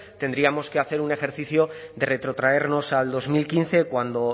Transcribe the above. tendríamos que hacer un ejercicio de retrotraernos al dos mil quince cuando